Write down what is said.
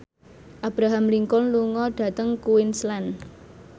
Abraham Lincoln lunga dhateng Queensland